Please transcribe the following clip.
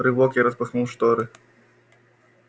рывок я распахнул шторы